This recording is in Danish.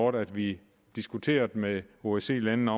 at vi diskuterede med osce landene